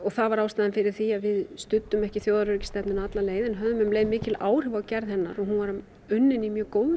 það var ástæðan fyrir því að við studdum ekki þjóðaröryggisstefnuna alla leið en við höfðum um leið mikil áhrif á gerð hennar og hún var unnin í mjög góðri